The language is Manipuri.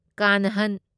ꯀꯥꯟꯍꯟ